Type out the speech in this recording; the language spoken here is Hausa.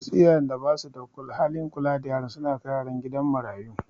Wasu iyayen da basu da halin kula da yaran su na kai yaran kidan marayu